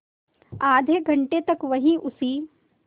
आधे घंटे तक वहीं उसी